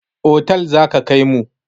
Otal za ka kaimu.